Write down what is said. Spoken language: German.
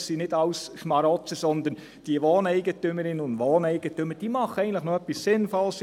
Das sind nicht alles Schmarotzer, sondern diese Wohneigentümerinnen und Wohneigentümer machen eigentlich noch etwas Sinnvolles.